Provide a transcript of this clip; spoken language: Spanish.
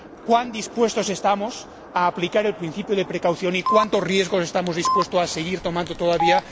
Cuán dispuestos estamos a aplicar el principio de cautela y cuántos riesgos estamos dispuestos a seguir tomando todavía.